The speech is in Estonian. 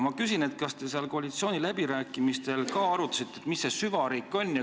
Ma küsin, kas te seal koalitsiooniläbirääkimistel ka arutasite, mis see süvariik on.